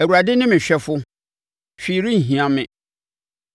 Awurade ne me hwɛfo, hwee renhia me.